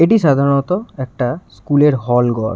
এটি সাধারনতঃ একটা স্কুলের হল ঘর।